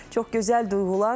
Çox gözəl duyğulardır.